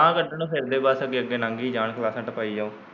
ਗਾਹ ਕੱਢਣ ਨੂੰ ਫਿਰਦੇ ਬਸ ਅੱਗੇ ਅੱਗੇ ਲੰਗੀ ਜਾਣ ਕਲਾਸਾਂ ਟਪਾਈ ਜਾਉ।